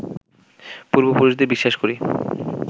পূর্ব পুরুষদের বিশ্বাস করি